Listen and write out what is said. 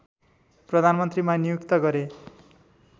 प्रधानमन्त्रीमा नियुक्त गरे